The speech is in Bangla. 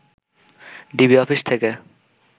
ডিবি অফিস থেকে